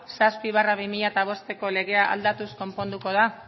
zazpi barra bi mila bost legea aldatuz konponduko da